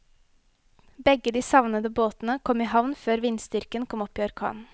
Begge de savnede båtene kom i havn før vindstyrken kom opp i orkan.